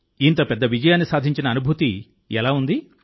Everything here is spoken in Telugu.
ఇంత పెద్ద విజయాన్ని సాధించిన అనుభూతి ఎలా ఉంది